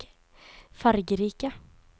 fargerike